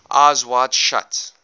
eyes wide shut